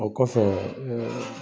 O kɔfɛ